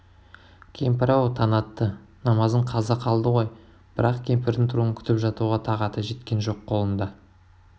кемпір-ау таң атты намазың қаза қалды ғой бірақ кемпірдің тұруын күтіп жатуға тағаты жеткен жоқ қолында